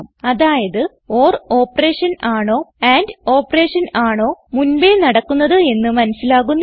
അതായത് or operation ആണോ and operation ആണോ മുൻപേ നടക്കുന്നത് എന്ന് മനസിലാകുന്നില്ല